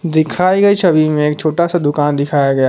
दिखाई गई छवि में एक छोटा सा दुकान दिखाया गया है।